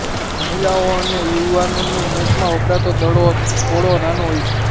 મહિલાઓ અને યુવાનોની મેચમાં વપરાતો દડો થોડો નાનો હોય છે